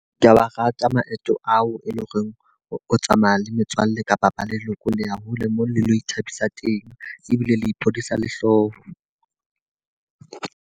Ke ya wa rata maeto ao e leng hore o tsamaya le metswalle kapa ba leloko, le a hole moo le lo ithabisa teng. Ebile le phodisa le hlooho.